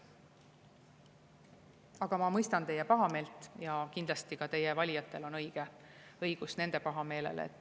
Aga ma mõistan teie pahameelt ja kindlasti on ka teie valijatel õigus pahameelele.